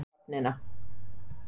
Sást henda hnífnum í höfnina